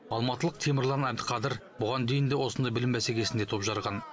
алматылық темірлан әбдіқадыр бұған дейін де осындай білім бәсекесінде топ жарған